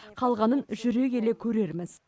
қалғанын жүре келе көрерміз